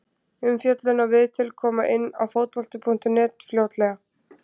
Umfjöllun og viðtöl koma inn á Fótbolti.net fljótlega.